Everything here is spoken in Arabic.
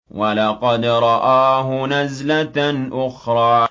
وَلَقَدْ رَآهُ نَزْلَةً أُخْرَىٰ